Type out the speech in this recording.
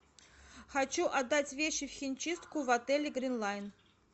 хочу отдать вещи в химчистку в отеле грин лайн